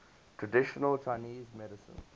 traditional chinese medicine